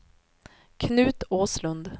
Knut Åslund